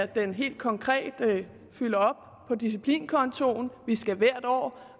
den helt konkrete fylder op på disciplinkontoen vi skal hvert år